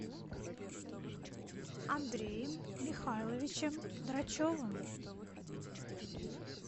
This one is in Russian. андреем михайловичем драчевым